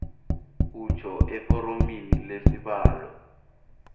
utjho eforomini lesibawo